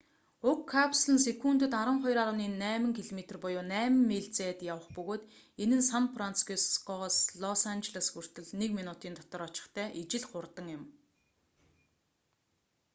уг капсул нь секундэд 12,8 км буюу 8 миль зайд явах бөгөөд энэ нь сан францискогоос лос анжелос хүртэл нэг минутын дотор очихтой ижил хурдан юм